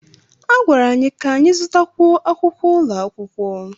A gwara anyị ka anyị zụtakwu akwụkwọ ụlọ akwụkwọ